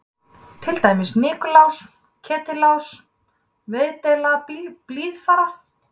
Til dæmis Nikulás, Ketilás og Veðdeild Blíðfara.